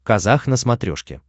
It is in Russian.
казах на смотрешке